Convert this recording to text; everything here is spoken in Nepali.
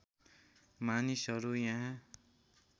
मानिसहरू यहाँ